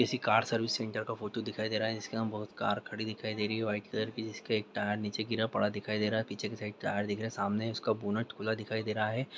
किसी car servicing centre का photo दिखाई दे रहा है जिसके यहां बहुत कार खड़ी दिखाई दे रही है व्हाइट कलर की जिसकी एक टायर नीचे गिरा पड़ा दिखाई दे रहा है पीछे की साइड टायर दिख रहे है सामने उसका बोनट खुला दिखाई दे रहा है।